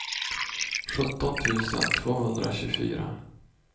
sjutton tusen tvåhundratjugofyra